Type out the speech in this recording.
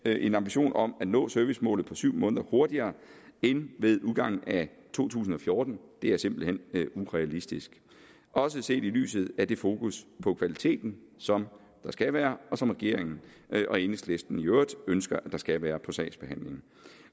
en ambition om at nå servicemålet på syv måneder hurtigere end ved udgangen af to tusind og fjorten er simpelt hen urealistisk også set i lyset af det fokus på kvaliteten som der skal være og som regeringen og enhedslisten i øvrigt ønsker at der skal være på sagsbehandlingen